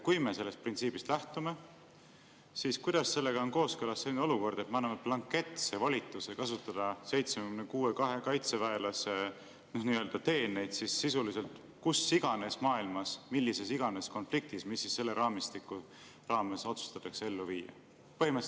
Kui me sellest printsiibist lähtume, siis kuidas on sellega kooskõlas selline olukord, et me anname blanketse volituse kasutada 76 kaitseväelase nii-öelda teeneid sisuliselt kus iganes maailmas mis iganes konfliktis, mis selle raamistiku raames otsustatakse ellu viia?